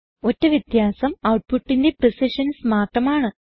ഒറ്റ വ്യത്യാസം ഔട്ട്പുട്ടിന്റെ പ്രിസിഷൻസ് മാത്രമാണ്